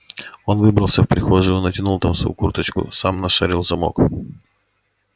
он выбрался в прихожую натянул там свою курточку сам нашарил замок